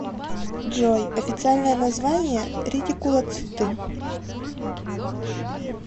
джой официальное название ретикулоциты